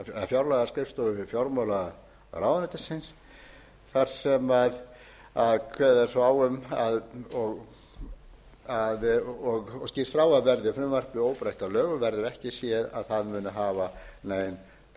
fjárlagaskrifstofu fjármálaráðuneytisins þar sem kveðið er svo á um og skýrt frá að verði frumvarpið óbreytt að lögum verður ekki séð að það muni hafa nein bein áhrif á eða nein áhrif á